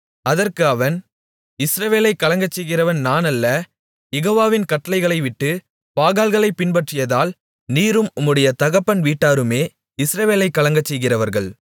அதற்கு அவன் இஸ்ரவேலைக் கலங்கச்செய்கிறவன் நான் அல்ல யெகோவாவின் கட்டளைகளைவிட்டு பாகால்களைப் பின்பற்றியதால் நீரும் உம்முடைய தகப்பன் வீட்டாருமே இஸ்ரவேலைக் கலங்கச்செய்கிறவர்கள்